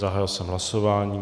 Zahájil jsem hlasování.